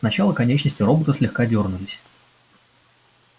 сначала конечности робота слегка дёрнулись